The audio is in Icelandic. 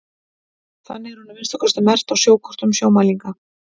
þannig er hún að minnsta kosti merkt á sjókortum sjómælinga